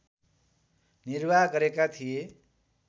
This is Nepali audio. निर्वाह गरेका थिए